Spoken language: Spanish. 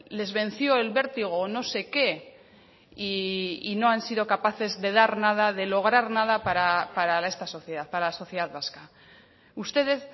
les venció el vértigo o no sé qué y no han sido capaces de dar nada de lograr nada para esta sociedad para la sociedad vasca ustedes